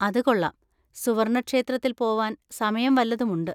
അത് കൊള്ളാം. സുവർണക്ഷേത്രത്തിൽ പോവാൻ സമയം വല്ലതും ഉണ്ട്.